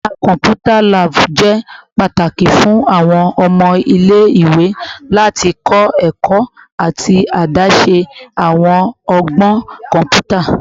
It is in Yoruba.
Yara kọmputa / lab jẹ pataki fun awọn ọmọ ile-iwe lati kọ ẹkọ ati adaṣe awọn ọgbọn kọnputa